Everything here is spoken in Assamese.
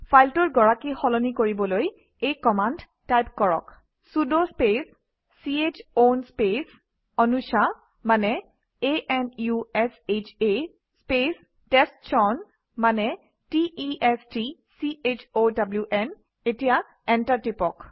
ফাইলটোৰ গৰাকী সলনি কৰিবলৈ এই কমাণ্ড টাইপ কৰক sudo space c h own space অনুশা মানে a n u s h আ স্পেচ টেষ্টচাউন মানে t e s t c h o w n enter টিপক